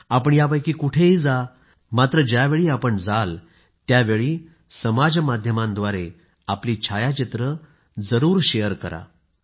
आपण यापैकी कुठंही जा मात्र ज्यावेळी जाणार त्यावेळी समाज माध्यमांच्याद्वारे आपली छायाचित्रे जरूर शेअर करा